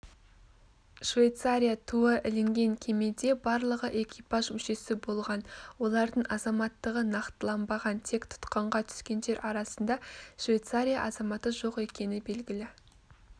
швейцария туы ілінген кемеде барлығы экипаж мүшесі болған олардың азаматтығы нақтыланбаған тек тұтқынға түскендер арасында швейцария азаматы жоқ екені белгілі